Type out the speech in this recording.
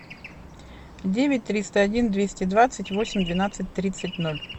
девять триста один двести двадцать восемь двенадцать тридцать ноль